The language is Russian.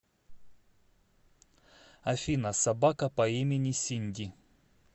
афина собака по имени синди